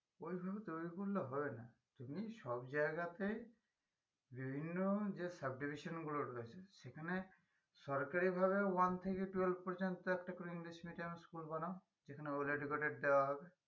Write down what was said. ওইভাবে তৈরী করলে হবে না তুমি সব জায়গাতে বিভিন্ন যে subdivision গুলো রয়েছে সেখানে সরকারি ভাবেও one থেকে twelve পর্যন্ত একটা করে english medium school বানাও যেখানে well educated দেওয়া হবে